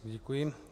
Děkuji.